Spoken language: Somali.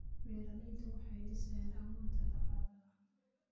Beeraleydu waxay dhisayaan awood dhaqaale.